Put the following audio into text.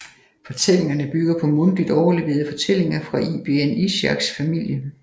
Fortællingerne bygger på mundtligt overleverede fortællinger fra ibn Ishaqs familie